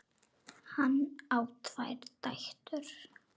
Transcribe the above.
Hann á tvær dætur.